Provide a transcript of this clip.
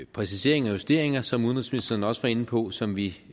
præciseringer og justeringer som udenrigsministeren også var inde på som vi